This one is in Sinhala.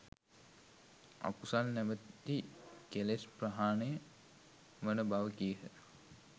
අකුසල් නමැති කෙලෙස් ප්‍රහාණය වන බව කීහ